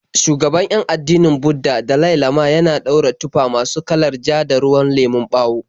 Shugaban 'yan addinin Budda, Dalai Lama, yana daura tufa masu kalar ja da ruwan lemon bawo.